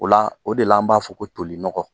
O la o de la an b'a fɔ ko tolinɔgɔ.